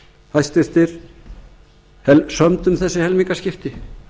hæstvirtur sömdu um þessi helmingaskipti